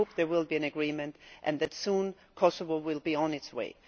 I hope there will be an agreement and that soon Kosovo will be on its way.